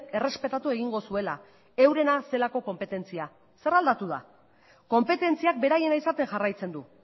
errespetatu egingo zuela eurena zelako konpetentzia zer aldatu da konpetentziak beraiena izaten jarraitzen du